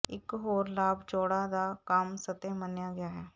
ਇੱਕ ਹੋਰ ਲਾਭ ਚੌੜਾ ਦਾ ਕੰਮ ਸਤਹ ਮੰਨਿਆ ਗਿਆ ਹੈ